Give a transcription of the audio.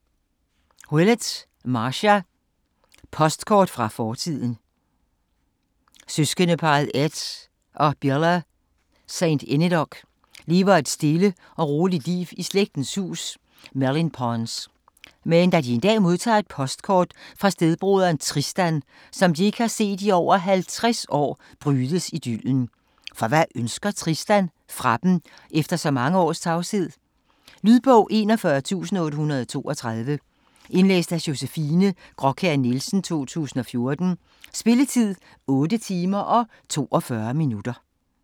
Willett, Marcia: Postkort fra fortiden Søskendeparret Ed og Billa St Enedoc lever et stille og roligt liv i slægtens hus Mellinpons. Men da de en dag modtager et postkort fra stedbroderen Tristan, som de ikke har set i over 50 år, brydes idyllen. For hvad ønsker Tristan fra dem, efter så mange års tavshed? Lydbog 41832 Indlæst af Josefine Graakjær Nielsen, 2014. Spilletid: 8 timer, 42 minutter.